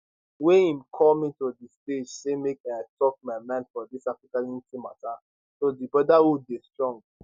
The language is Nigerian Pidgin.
wey im call me to di stage say make i tok my mind for dis africa unity mata so di brotherhood dey strong